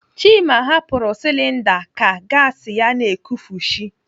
Chima hapụrụ silinda ka gasi ya na-ekufushi.